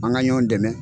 An ka ɲɔn dɛmɛ